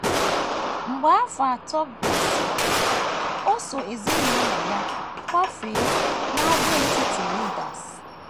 Mgbe afọ atọ gasịrị, o so ezinụlọ ya kwafee n’àgwàetiti Rodes.